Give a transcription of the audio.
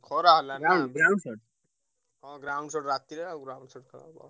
ଖରା ହେଲା ହଁ ground shot ରା ତିରେ ଆଉ ground shot ଖେଳ ହବ।